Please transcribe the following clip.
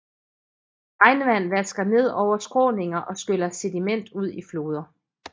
Regnvand vasker ned over skråninger og skyller sediment ud i floder